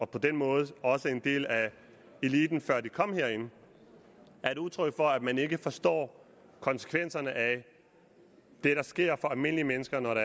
på den måde også en del af eliten før de kom herind er et udtryk for at man ikke forstår konsekvenserne af det der sker for almindelige mennesker når